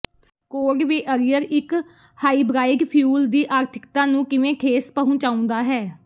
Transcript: cold weather ਇੱਕ hybrid fuel ਦੀ ਆਰਥਿਕਤਾ ਨੂੰ ਕਿਵੇਂ ਠੇਸ ਪਹੁੰਚਾਉਂਦਾ ਹੈ